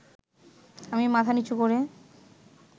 আমি মাথা নীচু করে